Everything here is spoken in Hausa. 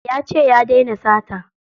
Yace ya daina sata.